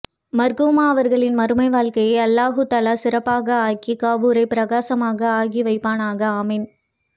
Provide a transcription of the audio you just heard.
மர்ஹூமா அவர்களின் மறுமை வாழ்கையை அல்லாஹு தலா சிறப்பாக ஆகி கபுரை பிரகாசமாக ஆகி வைப்பானாக ஆமீன்